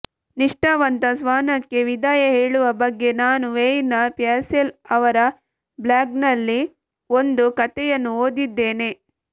ನಿಷ್ಠಾವಂತ ಶ್ವಾನಕ್ಕೆ ವಿದಾಯ ಹೇಳುವ ಬಗ್ಗೆ ನಾನು ವೇಯ್ನ್ ಪ್ಯಾಸೆಲ್ ಅವರ ಬ್ಲಾಗ್ನಲ್ಲಿ ಒಂದು ಕಥೆಯನ್ನು ಓದಿದ್ದೇನೆ